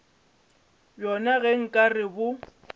bjona ge nka re bo